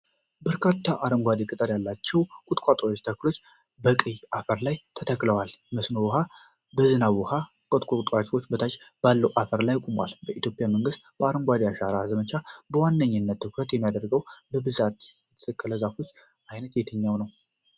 በርካታ አረንጓዴ ቅጠል ያላቸው ቁጥቋጦ ተክሎች በቀይ አፈር ላይ ተተክለዋል። የመስኖ ውኃ ወይም የዝናብ ውኃ ከቁጥቋጦዎቹ በታች ባለው አፈር ላይ ቆሟል። በኢትዮጵያ መንግስት የአረንጓዴ አሻራ ዘመቻ በዋነኛነት ትኩረት የሚያደርገውና በብዛት የሚተከለው የዛፍ ዓይነት የትኛው ነው?